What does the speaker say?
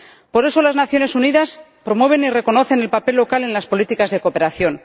Por eso, las Naciones Unidas promueven y reconocen el papel local en las políticas de cooperación.